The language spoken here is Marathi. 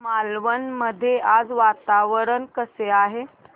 मालवण मध्ये आज वातावरण कसे आहे